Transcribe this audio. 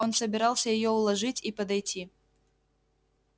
он собирался её уложить и подойти